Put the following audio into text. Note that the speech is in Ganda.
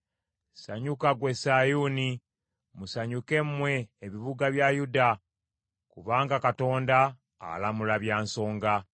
Sanyuka gwe Sayuuni, musanyuke mmwe ebibuga bya Yuda; kubanga Katonda alamula bya nsonga.